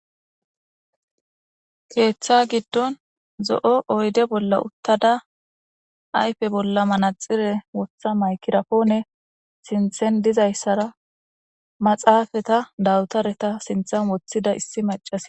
Keeththa gidon zo'o oyide bola utada ayife bola maraxire wota mayigira pone sinten dizaysara maxfeta dafitarata sintan wotida issi macasiy.